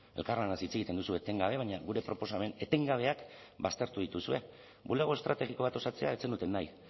elkarlanaz hitz egiten duzu etengabe baina gure proposamen etengabeak baztertu dituzue bulego estrategiko bat osatzea ez zenuten nahi